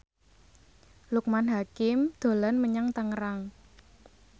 Loekman Hakim dolan menyang Tangerang